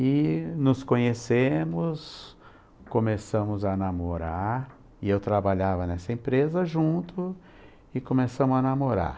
E nos conhecemos, começamos a namorar e eu trabalhava nessa empresa junto e começamos a namorar.